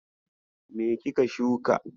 Me kika shuka?